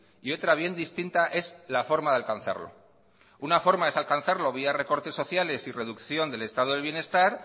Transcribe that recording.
y otra bien distinta es la forma de alcanzarlo una forma es alcanzarlo vía recortes sociales y reducción del estado de bienestar